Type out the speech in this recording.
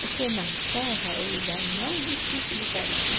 Porque na serra é o lugar mais difícil de trabalhar.